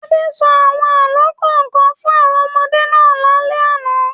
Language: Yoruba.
Adé sọ àwọn àlọ́ kọ̀ọ̀kan fún àwọn ọmọdé náà lálẹ́ àná.